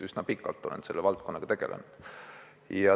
Üsna pikalt olen selle valdkonnaga tegelenud.